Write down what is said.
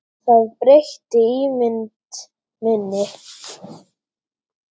Það breytti ímynd minni.